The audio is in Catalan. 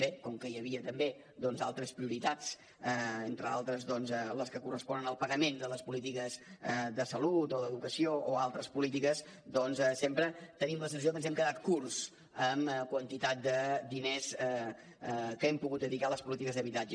bé com que hi havia també altres prioritats entre d’altres les que corresponen al pagament de les polítiques de salut o d’educació o altres polítiques sempre tenim la sensació que ens hem quedat curts amb quantitats de diners que hem pogut dedicar a les polítiques d’habitatge